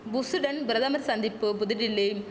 புஷ்சுடன் பிரதமர் சந்திப்பு புதுடில்லி